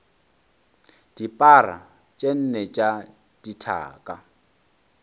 dipara tše nne tša dithaka